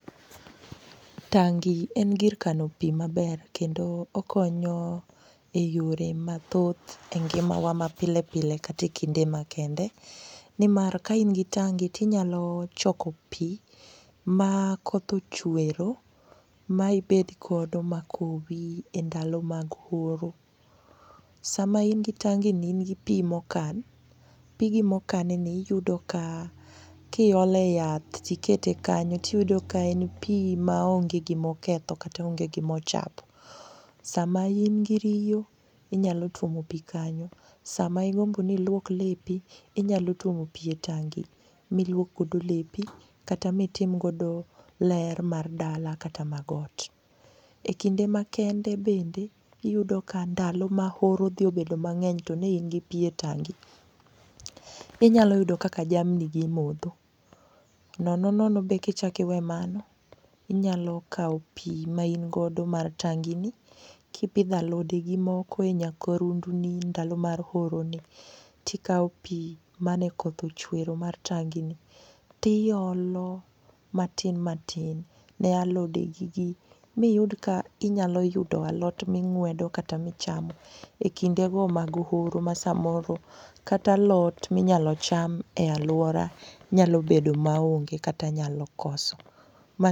Tangi en gir kano pi maber kendo okonyo e yore mathoth e ngimawa mapile pile kata e kinde makende, nimar kaingi tange tinyalo choko pi makoth ochwero maibedgodo makowi e ndalo mag horo. Sama ingi tangeni in gi pi mokan, pigi mokanni iyudo ka iole yath tikete kanyo tiyudo ka en pi maonge gimoketho kata onge gimochapo. Sama ingi riyo inyalo tuomo pi kanyo, sama igombo ni iluok lepi inyalo tuomo pi e tangi miluokgodo lepi kata mitimgodo ler mar dala kata mag ot. E kinde makende bende iyudo ka ndalo ma horo odhi obedo mang'eny to ne ingi pi e tangi, inyalo yudo kaka jamnigi modho, nono nono be kichakiwe mago inyalo kawo pi maingodo mar tangini kipidho alodegi moko e nyakorundini ndalo mar horoni tikawo pi manekoth ochwero mar tangini tiolo matin matin ne alodegigi miyud ka inyalo yudo alot ming'wedo kata michamo e kindego mag horo ma samoro kata alot minyalo cham e alwora nyalo bedo maonge kata nyalo koso..